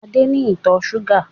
Adé ni ìtọ̀ ṣúgà